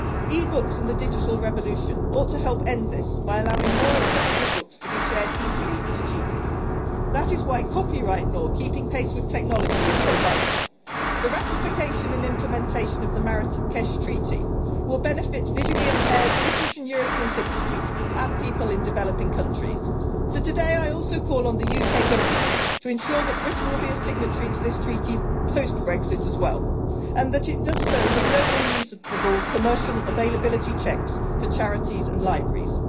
E-books and the digital revolution ought to help end this by allowing more accessible books to be shared easily and cheaply. That is why copyright law keeping pace with technology is so vital. The ratification and implementation of the Marrakesh Treaty will benefit visually impaired British and European citizens and people in developing countries, so today I also call on the UK Government to ensure that Britain will be a signatory to this Treaty post Brexit as well, and that it does so with no unreasonable commercial availability checks for charities and libraries.